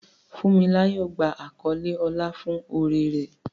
Funmilayo gba àkọlé ọlá fún oore rẹ̀.